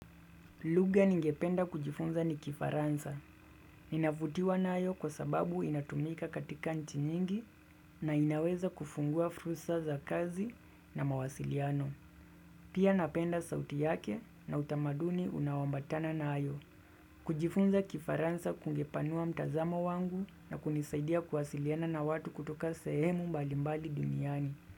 Lugha ningependa kujifunza ni kifaransa. Ninavutiwa nayo kwa sababu inatumika katika nchi nyingi na inaweza kufungua fursa za kazi na mawasiliano. Pia napenda sauti yake na utamaduni unaoambatana nayo. Kujifunza kifaransa kungepanua mtazamo wangu na kunisaidia kuwasiliana na watu kutoka sehemu mbali mbali duniani.